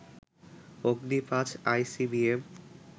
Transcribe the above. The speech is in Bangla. অগ্নি ৫ আইসিবিএম